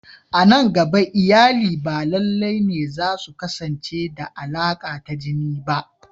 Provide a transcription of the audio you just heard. A nan gaba, iyali ba lalle ne za su kasance da alaka ta jini ba.